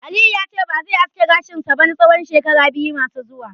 Aliyu yace ba zai aske gashin sa ba na tsawon shekara biyu masu zuwa